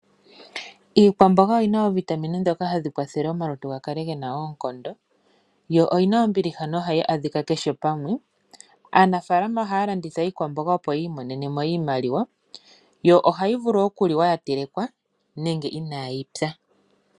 Iikwamboga oyina oovitamine ndhoka hadhi kwathele omalutu ga kale gena oonkondo yo oyina ombiliha nohayi adhika kehe pamwe. Aanafaalama ohaya landitha iikwamboga opo yiimonene mo iimaliwa. Omboga ohayi vulu okuliwa nenge inayi pya.